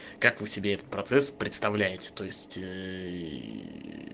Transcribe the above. как вы себе представляете то есть